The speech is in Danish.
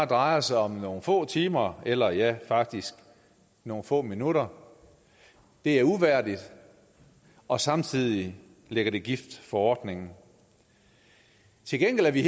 drejer sig om nogle få timer eller ja faktisk nogle få minutter det er uværdigt og samtidig lægger det gift for ordningen til gengæld er vi i